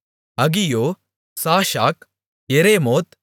அகியோ சாஷாக் எரேமோத்